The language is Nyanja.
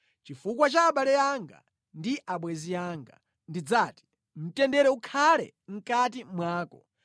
Chifukwa cha abale anga ndi abwenzi anga ndidzati, “Mtendere ukhale mʼkati mwako.”